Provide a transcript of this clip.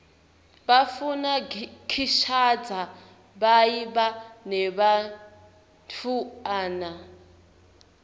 bafuna kishadza biabe nebantfuana